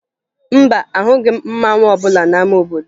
Mba, ahụghị m mmanwụ ọbụla n'ama obodo